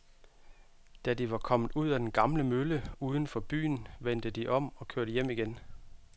Da de var kommet ud til den gamle mølle uden for byen, vendte de om og kørte hjem igen.